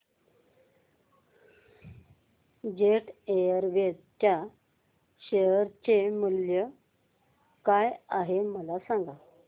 jet Airways च्या share चे मूल्य काय आहे मला सांगा